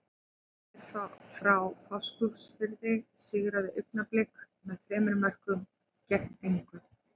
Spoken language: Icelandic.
Leiknir frá Fáskrúðsfirði sigraði Augnablik með þremur mörkum gegn engu.